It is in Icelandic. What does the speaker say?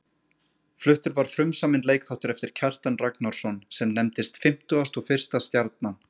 Fluttur var frumsaminn leikþáttur eftir Kjartan Ragnarsson, sem nefndist Fimmtugasta og fyrsta stjarnan.